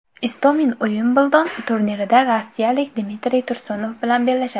Istomin Uimbldon turnirida rossiyalik Dmitriy Tursunov bilan bellashadi.